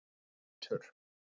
Hrútur